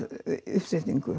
uppsetningu